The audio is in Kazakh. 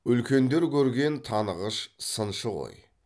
үлкендер көрген танығыш сыншы ғой